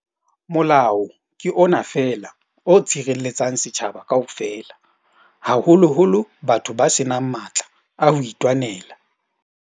Molao ke ona feela o tshirelle-tsang setjhaba kaofela, haholoholo bathong ba senang matla a hoitwanela.